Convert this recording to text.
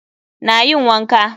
Na yin wanka.